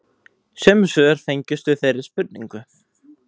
Sömu svör fengust við þeirri spurningu